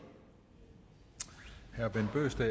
herre bent bøgsted